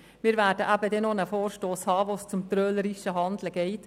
Wir werden dann noch einen Vorstoss behandeln, bei dem es um trölerisches Handeln geht.